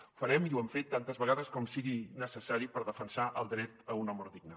ho farem i ho hem fet tantes vegades com sigui necessari per defensar el dret a una mort digna